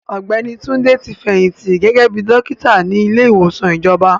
Ọ̀gbẹ́ni Túndé ti fẹ̀yìntì gẹ́gẹ́ bíi dọ́kítà ní ilé ìwòsàn ìjọba.